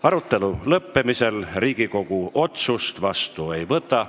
Arutelu lõppemisel Riigikogu otsust vastu ei võta.